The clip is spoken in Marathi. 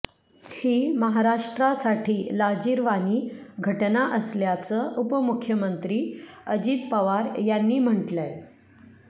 ही महाराष्ट्रासाठी लाजीरवाणी घटना असल्याचं उपमुख्यमंत्री अजित पवार यांनी म्हटलंय